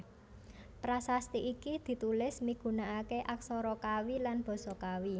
Prasasti iki ditulis migunakaké aksara Kawi lan basa Kawi